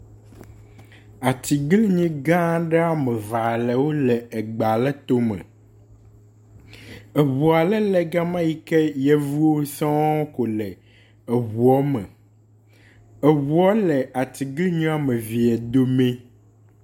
Atiglinyi gãa ɖe woamevalewo le egbaletome, eʋua le le gama yike yevuwo sɔŋ ko le ʋua me, eʋua le atiglinyiwoamevie domi